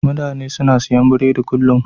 Mutane suna siyan burodi kullum.